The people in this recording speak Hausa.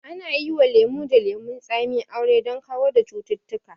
Ana yi wa lemo da lemon tsami aure don kawar da cututtuka